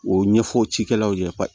O ɲɛfɔ cikɛlaw ye